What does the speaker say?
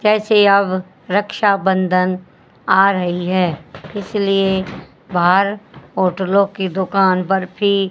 अब रक्षाबंधन आ रही है इसलिए बाहर होटलों की दुकान बर्फी--